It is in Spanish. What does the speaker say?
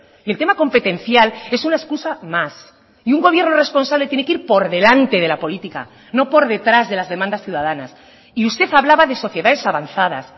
y el tema competencial es una excusa más y un gobierno responsable tiene que ir por delante de la política no por detrás de las demandas ciudadanas y usted hablaba de sociedades avanzadas